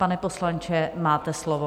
Pane poslanče, máte slovo.